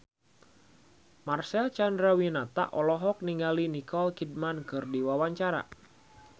Marcel Chandrawinata olohok ningali Nicole Kidman keur diwawancara